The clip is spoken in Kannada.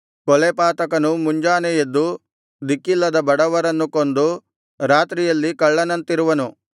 ಕೊಲೆಪಾತಕನು ಮುಂಜಾನೆ ಎದ್ದು ದಿಕ್ಕಿಲ್ಲದ ಬಡವರನ್ನು ಕೊಂದು ರಾತ್ರಿಯಲ್ಲಿ ಕಳ್ಳನಂತಿರುವನು